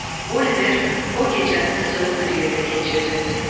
Oliver o gecəni də soyuq bir yerdə keçirdi.